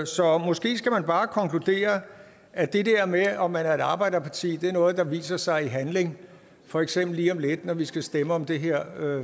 så måske skal man bare konkludere at det der med om man er et arbejderparti er noget der viser sig i handling for eksempel lige om lidt når vi skal stemme om det her